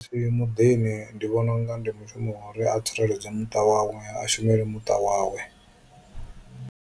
Muḓini ndi vhona unga ndi mushumo wa uri a tsireledze muṱa wawe, a shumele muṱa wawe.